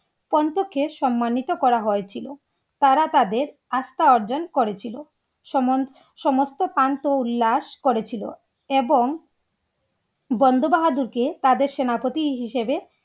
সম্মানিত করা হয়েছিল। তারা তাদের আস্থা অর্জন করেছিল। সমস্ত প্রান্ত উল্লাস করেছিল এবং বন্ধ বাহাদুরকে তাদের সেনাপতি হিসেবে